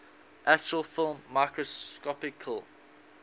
actual film microscopically